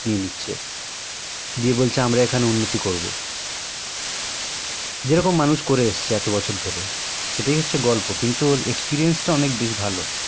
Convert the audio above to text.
সব নিয়ে নিচ্ছে দিয়ে বলছে আমরা এখানে উন্নতি করবো যেরকম মানুষ করে এসেছে এত বছর ধরে সেটাই হচ্ছে গর্ব কিন্তু ওর experience টা অনেক ভালো